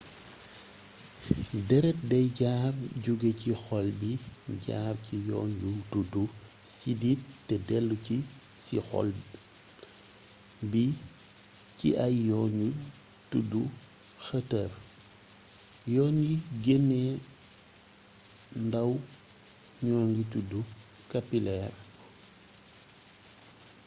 dérét day jaar jugé ci xol bi jaar ci yoon yu tuddu sidit té déllu si ci xol bi ci ay yoon yu tuddu xëtër yoon yi geenee ndaw ñoogi tuddu kapileer